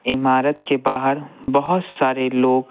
इमारत के बाहर बहुत सारे लोग--